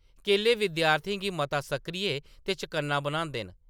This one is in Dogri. केले विद्यार्थियें गी मता सक्रिय ते चकन्ना बनांदे न ।